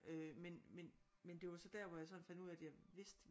Øh men men men det var sådan der at jeg fandt ud af at jeg vidste